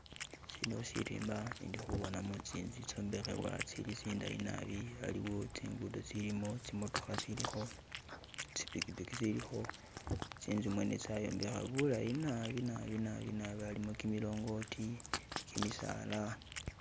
Sino sirimba indi'khubonamo tsintsu tsitsombekhebwa tsili' tsindayi nabi, aliwo tsigundo tsilimo tsimotokha tsilikho, tsipikipiki tsilikho tsintsu mwene tsayombekha bulayi nabi'nabi'nabi'nabi alimo kimilongoti, kimisala